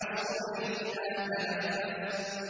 وَالصُّبْحِ إِذَا تَنَفَّسَ